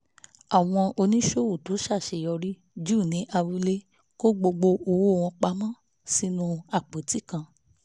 àwọn oníṣòwò tó ṣàṣeyọrí jù ní abúlé kó gbogbo owó wọn pa mọ́ sínú àpótí kan